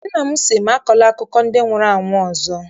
Nna m sị m, akọla akụkọ ndị nwụrụ anwụ ọzọ!